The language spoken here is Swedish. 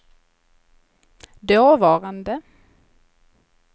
dåvarande